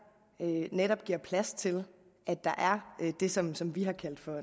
netop giver plads til at der er det som som vi har kaldt for